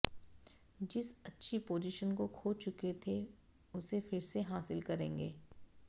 जिस अच्छी पोजीशन को खो चुके थे उसे फिर से हासिल करेंगे